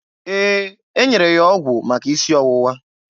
Ee, e nyere ya ọgwụ maka isi ọwụwa.